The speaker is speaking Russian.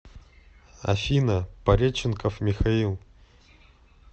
афина пареченков михаил